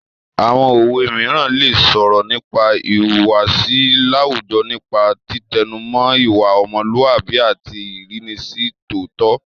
Àwọn òwe mìíràn lè sọ̀rọ̀ nípa ìhùwàsí láwùjọ nípa títẹnumọ́ ìwà ọmọlúàbí àti ìrínisí tó tọ́